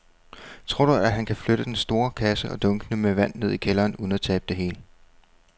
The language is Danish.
Tror du, at han kan flytte den store kasse og dunkene med vand ned i kælderen uden at tabe det hele?